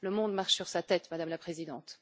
Le monde marche sur la tête, Madame la Présidente.